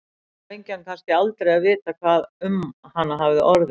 Nú fengi hann kannski aldrei að vita hvað um hana hafði orðið.